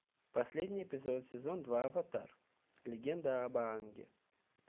последний эпизод сезон два аватар легенда об аанге